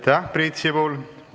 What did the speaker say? Aitäh, Priit Sibul!